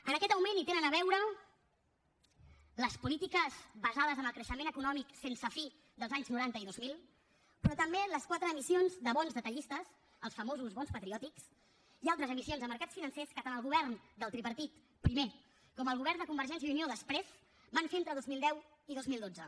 amb aquest augment hi tenen a veure les polítiques basades en el creixement econòmic sense fi dels anys noranta i dos mil però també les quatre emissions de bons detallistes els famosos bons patriòtics i altres emissions de mercats financers que tant el govern del tripartit primer com el govern de convergència i unió després van fer entre dos mil deu i dos mil dotze